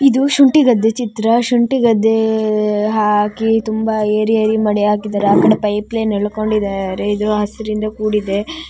ಇದು ಶುಂಠಿ ಗದ್ದೆ ಚಿತ್ರ ಶುಂಠಿ ಗದ್ದೆ ಹಾಕಿ ತುಂಬಾ ಏರಿ ಏರಿ ಮಾಡಿ ಹಾಕಿದ್ದಾರೆ ಆ ಕಡೆ ಪೈಪ್ ಲೈನ್ ಇಂದ ಎಳ್ಕೊಂಡಿದ್ದಾರೆ ಇದು ಹಸಿರಿನಿಂದ ಕೂಡಿದೆ.